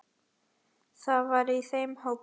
Hann var í þeim hópi.